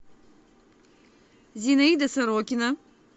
зинаида сорокина